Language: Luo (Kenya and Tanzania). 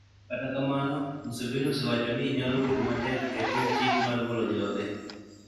Kata kamano, Museveni osewacho ni nyalo bedo matek e tim chik mar golo joge.